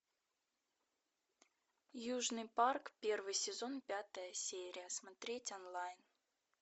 южный парк первый сезон пятая серия смотреть онлайн